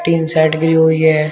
Tin shed घिरी हुई है।